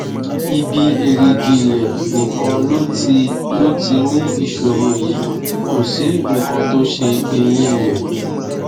ibi èrìgì rẹ nìkan ló ti ló ti ní ìṣòro yìí kò sí nǹkan tó ṣe eyín rẹ